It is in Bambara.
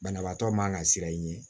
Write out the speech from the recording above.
Banabaatɔ man ka siran i ɲɛ